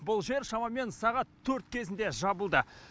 бұл жер шамамен сағат төрт кезінде жабылды